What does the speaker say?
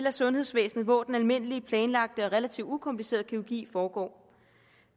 af sundhedsvæsenet hvor den almindelige planlagte og relativt ukomplicerede kirurgi foregår